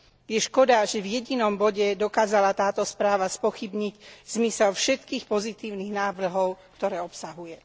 Je škoda, že v jedinom bode dokázala táto správa spochybniť zmysel všetkých pozitívnych návrhov, ktoré obsahuje.